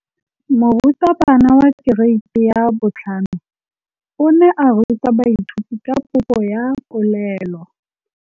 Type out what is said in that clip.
Moratabana wa kereiti ya 5 o ne a ruta baithuti ka popô ya polelô.